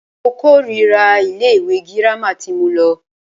Mo kòrira ilé ìwé gírámà tí mo lọ.